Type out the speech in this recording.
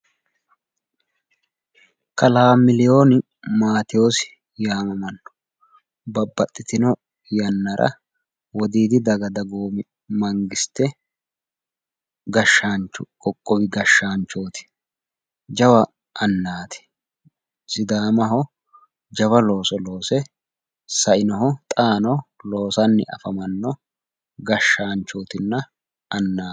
kalaa milion matewosi yaamamanno babbaxitino yannara wodiidi daga dagoomi mangiste qoqowi gashshaanchooti, jawa annaati sidaamaho jawa looso loose sainoho xaano loosanni afamanno gashshaanchootinna annaati.